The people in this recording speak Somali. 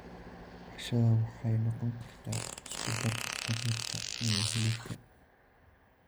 Cashada waxay noqon kartaa isku darka khudaarta iyo hilibka.